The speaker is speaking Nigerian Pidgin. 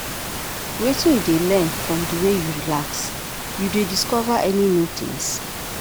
Wetin you dey learn from di way you relax, you dey discover any new tings?